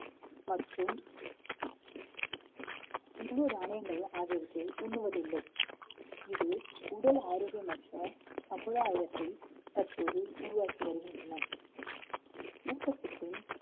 மற்றும் முழு தானியங்கள் ஆகியவற்றை உண்ணுவதில்லை. இது உடல் ஆரோக்கியமற்ற சமுதாயத்தை தற்போது உருவாக்கி வருகின்றன ஊட்டச்சத்து